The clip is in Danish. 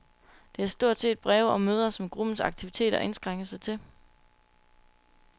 Det er stort set breve og møder, som gruppens aktiviteter indskrænker sig til.